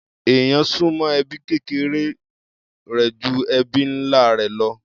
Èèyàn súnmọ́ ẹbí kékeré rẹ̀ ju ẹbí ńlá rẹ̀ lọ.